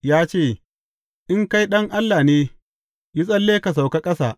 Ya ce, In kai Ɗan Allah ne, yi tsalle ka sauka ƙasa.